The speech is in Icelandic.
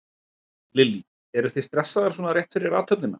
Lillý: Eruð þið stressaðar svona rétt fyrir athöfnina?